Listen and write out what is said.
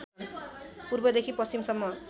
पूर्वदेखि पश्चिमसम्म